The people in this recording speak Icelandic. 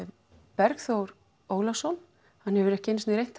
Bergþór Ólason hann hefur ekki einu sinni reynt